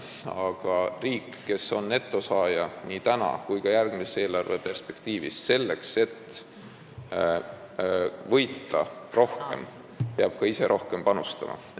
Aga riik, kes on nii praegu kui ka järgmise eelarve perspektiivis netosaaja, peab selleks, et võita rohkem, ka ise rohkem panustama.